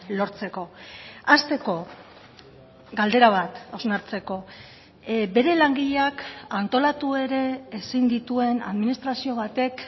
lortzeko hasteko galdera bat hausnartzeko bere langileak antolatu ere ezin dituen administrazio batek